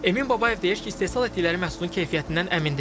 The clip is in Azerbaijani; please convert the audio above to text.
Emin Babayev deyir ki, istehsal etdikləri məhsulun keyfiyyətindən əmindir.